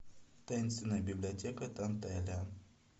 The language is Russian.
таинственная библиотека данталиан